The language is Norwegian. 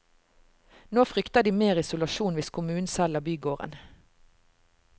Nå frykter de mer isolasjon hvis kommunen selger bygården.